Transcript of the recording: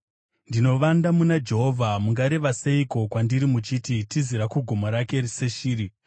Ndinovanda muna Jehovha. Mungareva seiko kwandiri muchiti, “Tizira kugomo rako seshiri.